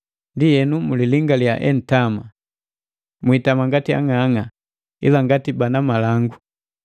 Ndienu, mulilingaliya entama. Mwiitama ngati ang'ang'a, ila ngati bana malangu.